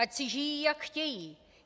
Ať si žijí jak chtějí!